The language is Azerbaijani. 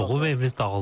Doğum evimiz dağıldı.